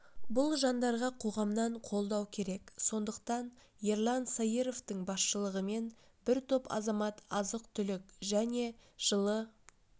бұл жандарға қоғамнан қолдау керек сондықтан ерлан саировтың басшылығымен бір топ азамат азық-түлік және жылы